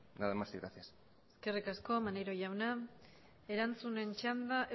nada más y gracias eskerrik asko maneiro jauna erantzunen txanda